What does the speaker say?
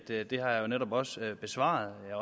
at det har jeg netop også besvaret og jeg